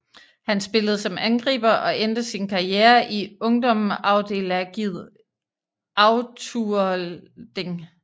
Han spillede som angriber og endte sin karriere i Ungmennafélagið Afturelding